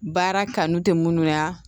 Baara kanu tɛ minnu y'a